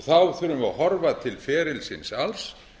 þá þurfum við að horfa til ferilsins alls